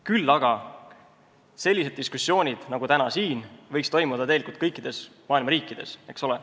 Küll aga võiksid sellised diskussioonid nagu tänane toimuda kõikides maailma riikides.